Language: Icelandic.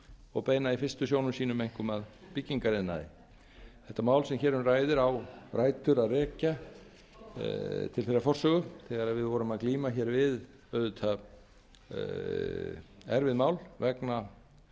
og beina í fyrst einkum sjónum sínum að byggingariðnaði þetta mál sem hér um ræðir á rætur að rekja til þeirrar forsögu þegar við vorum að glíma hér við auðvitað erfið mál vegna